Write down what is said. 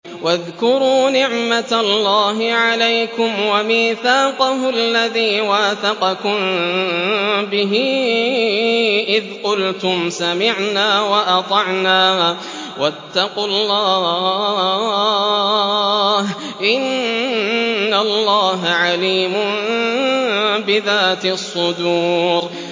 وَاذْكُرُوا نِعْمَةَ اللَّهِ عَلَيْكُمْ وَمِيثَاقَهُ الَّذِي وَاثَقَكُم بِهِ إِذْ قُلْتُمْ سَمِعْنَا وَأَطَعْنَا ۖ وَاتَّقُوا اللَّهَ ۚ إِنَّ اللَّهَ عَلِيمٌ بِذَاتِ الصُّدُورِ